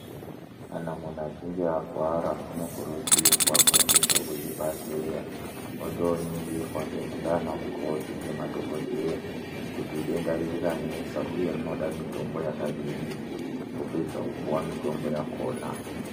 Kana munhu achinge arwara anokurudzirwa kuendesa kuzvibhedhlera wondoningurwa nana mukoti kuzvibhedhlera kuti denda rinenge ranesa uye rinoda mitombo yakadini wopedza wopuwa mutombo yakona.